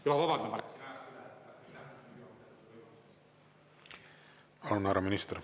Ja ma vabandan, ma läksin ajaga üle.